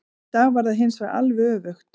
Í dag var það hinsvegar alveg öfugt.